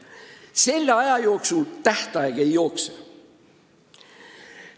Selle aja jooksul tähtaeg ei jookse.